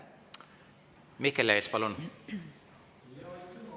Mihkel Lees, palun!